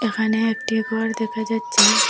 এখানে একটি ঘর দেখা যাচ্ছে।